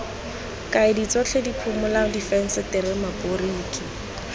kaedi tsotlhe diphimola difensetere maboriki